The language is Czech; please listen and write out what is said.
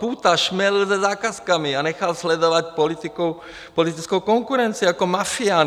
Půta šmelil se zakázkami a nechal sledovat politickou konkurenci jako mafián.